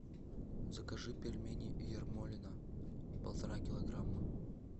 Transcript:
закажи пельмени ермолино полтора килограмма